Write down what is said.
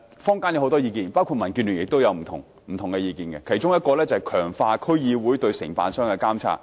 坊間有不少意見，民建聯也有不同意見，其中一個意見是強化區議會對承辦商的監察。